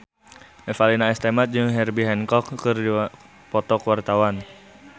Revalina S. Temat jeung Herbie Hancock keur dipoto ku wartawan